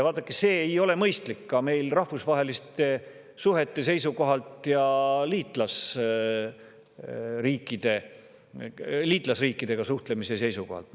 Vaadake, see ei ole mõistlik ka meie rahvusvaheliste suhete ja liitlasriikidega suhtlemise seisukohalt.